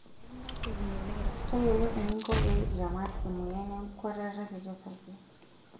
Tayiolo eninko pee iramat emoyian enkuatata kiti osarge.